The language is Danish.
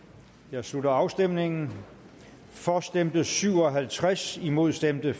jeg slutter afstemningen for stemte syv og halvtreds imod stemte